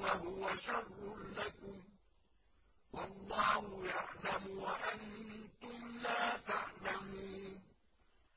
وَهُوَ شَرٌّ لَّكُمْ ۗ وَاللَّهُ يَعْلَمُ وَأَنتُمْ لَا تَعْلَمُونَ